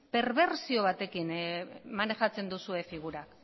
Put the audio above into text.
perbertsio batekin maneiatzen duzue figura